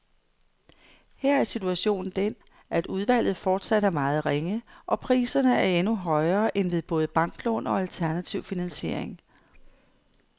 Her er situationen den, at udvalget fortsat er meget ringe, og priserne er endnu højere end ved både banklån og alternativ finansiering.